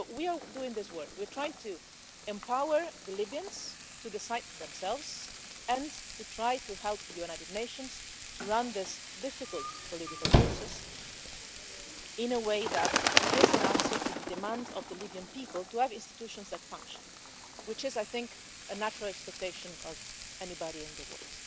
So we are doing this work, we're trying to empower the Libyans to decide for themselves and to try to help the United Nations to run this difficult political process in a way that gives an answer to the demand of the Libyan people to have institutions that function, which is, I think, a natural expectation of anybody in the world.